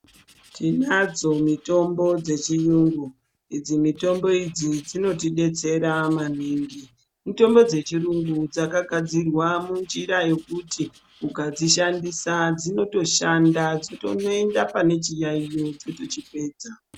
Tinadzo mitombo dzechiyungu, idzi mitombo idzi dzinotidetsera maningi ,mitombo dzechiyungu dzakagadzirwa munjira yekuti ukadzishandisa dzinotoshanda dzotonoenda pane chiyaiyo dzotochipedza.